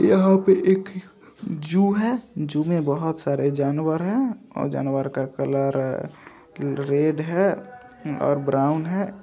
यहां पे एक जू है। जू में बहुत सारे जानवर है और जानवर का कलर रेड है और ब्राउन है।